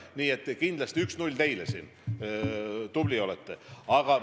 Nii et kindlasti 1 : 0 teile – tubli olete!